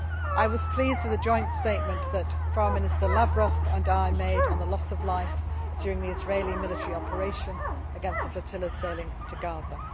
I was pleased with the joint statement that Foreign Minister Lavrov and I made on the loss of life during the Israeli military operation against the flotilla sailing to Gaza.